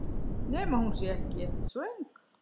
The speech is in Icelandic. Nema hún sé ekkert svöng.